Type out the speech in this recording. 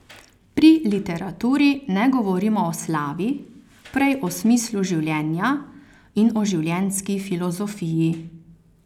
Pri literaturi ne govorimo o slavi, prej o smislu življenja in o življenjski filozofiji.